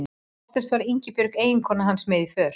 Oftast var Ingibjörg eiginkona hans með í för.